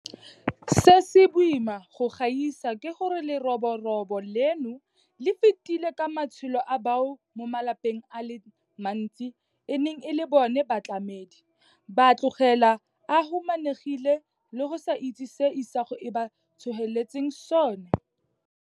Se se boima go gaisa ke gore leroborobo leno le fetile ka matshelo a bao mo malapeng a le mantsi e neng e le bona batlamedi, ba a tlogela a humanegile le go sa itse se isago e ba tsholetseng sona.